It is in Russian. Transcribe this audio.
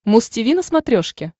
муз тиви на смотрешке